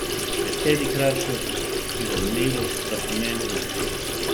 Besedi kratkost in zanimivost sta pomembni.